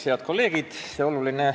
Head kolleegid!